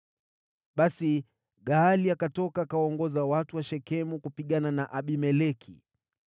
Basi Gaali akatoka akawaongoza watu wa Shekemu kupigana na Abimeleki.